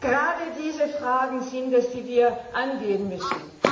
Gerade diese Fragen sind es, die wir angehen müssen.